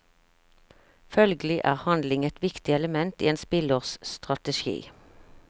Følgelig er handling et viktig element i en spillers strategi.